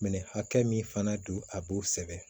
Minɛn hakɛ min fana don a b'o sɛbɛn